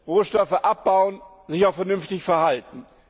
Rohstoffe abbauen, sich auch vernünftig verhalten.